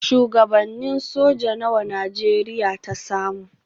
Shuwagabannin soja nawa Najeriya ta samu?